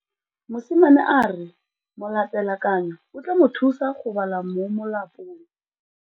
Mosimane a re molatekanyô o tla mo thusa go bala mo molapalong.